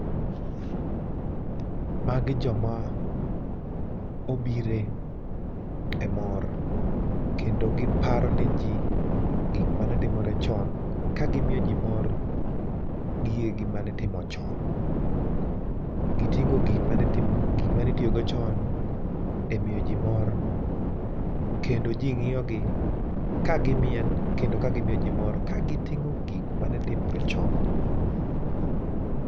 Magi joma obire e mor kendo giparo ne jii gik mane timore chon, kagimio jii mor gigegi manitimo chon. Giting'o gik mane tim gik manitiogo chon e mio jii mor kendo jii ng'io gi ka gimiel kendo ka gimio jii mor kagiting'o gik mane timore chon.